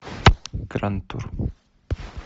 гранд тур